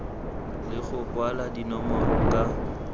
le go kwalwa dinomoro ka